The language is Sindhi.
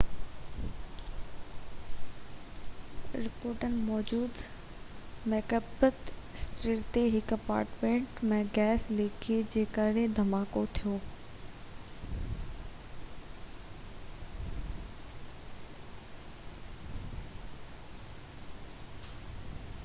رپورٽن موجب مڪبيٿ اسٽريٽ تي هڪ اپارٽمنٽ ۾ گئس لڪيج جي ڪري ڌماڪو ٿيو